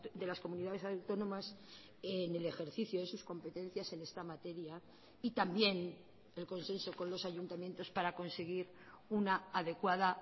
de las comunidades autónomas en el ejercicio de sus competencias en esta materia y también el consenso con los ayuntamientos para conseguir una adecuada